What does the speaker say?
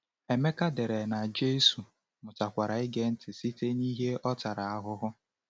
Emeka dere na Jésù “mụtakwara ịge ntị site n’ihe ọ tara ahụhụ."